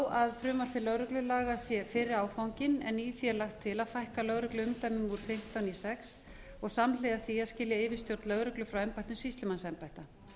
að frumvarp til lögreglulaga sé fyrri áfanginn en í því er lagt til að fækka lögregluumdæmum úr fimmtán í sex og samhliða því að skilja yfirstjórn lögreglu frá embættum sýslumannsembætta